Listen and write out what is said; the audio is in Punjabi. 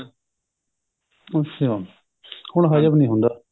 ਅੱਛਾ ਹੁਣ ਹਜਮ ਨਹੀਂ ਹੁੰਦਾ